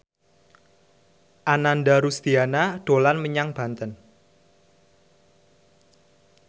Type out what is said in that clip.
Ananda Rusdiana dolan menyang Banten